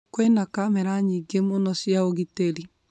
Kwĩna kamera nyingĩ muno cia ugĩtĩri